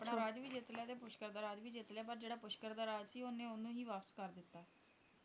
ਆਪਣਾ ਰਾਜ ਵੀ ਜਿੱਤ ਲਿਆ ਤੇ ਪੁਸ਼ਕਰ ਦਾ ਰਾਜ ਵੀ ਜਿੱਤ ਲਿਆ ਪਰ ਜਿਹੜਾ ਪੁਸ਼ਕਰ ਦਾ ਰਾਜ ਸੀ ਉਹਨੇ ਉਹਨੂੰ ਹੀ ਵਾਪਸ ਕਰਤਾ ਦਿੱਤਾ